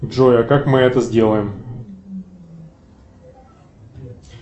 джой а как мы это сделаем